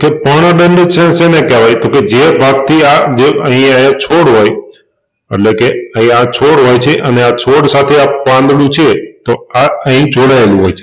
તો પર્ણદંડ છે શેને કેહવાય તોકે જે ભાગથી આ જે અહીઆ એક છોડ હોય અટલે કે અહી આ છોડ હોય છે અને આ છોડ સાથે આ પાંદડું છે તો આ અહી જોડાયેલું હોય છે.